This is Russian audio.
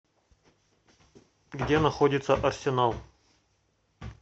где находится арсенал